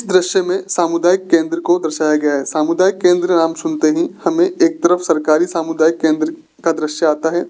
दृश्य में सामुदायिक केंद्र को दर्शाया गया है सामुदायिक केंद्र नाम सुनते ही हमें एक तरफ सरकारी सामुदायिक केंद्र का दृश्य आता है।